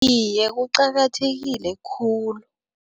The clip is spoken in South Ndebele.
Iye, kuqakathekile khulu.